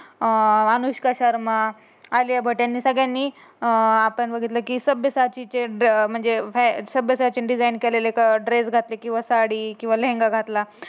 अं अनुष्का शर्मा आलिया भट यांनी सगळ्यांनी अं आपण बघितलं की सभ्यता ची म्हणजे हे सभ्यता ची डिझाईन केलेली ड्रेस घेतले किंवा साडी किंवा लेंगा घातला.